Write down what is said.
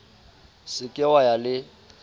se ke wa ya le